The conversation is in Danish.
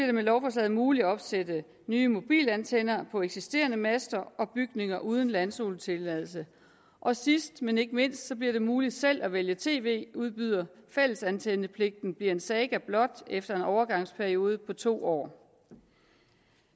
det med lovforslaget muligt at opsætte nye mobilantenner på eksisterende master og bygninger uden landzonetilladelse og sidst men ikke mindst bliver det muligt selv at vælge tv udbyder fællesantennepligten bliver en saga blot efter en overgangsperiode på to år